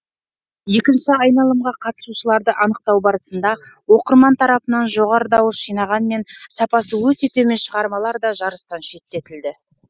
екінші айналымға қатысушыларды анықтау барысында оқырман тарапынан жоғары дауыс жинағанмен сапасы өте төмен шығармалар да жарыстан шеттетілді